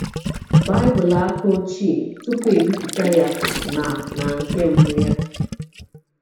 “Bible aka ochie tupu e bipụta ya na na nke mbụ ya.”